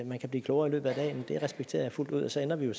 man kan blive klogere i løbet af dagen det respekterer jeg fuldt ud så ender vi jo